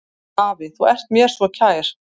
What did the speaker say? Afi, þú ert mér svo kær.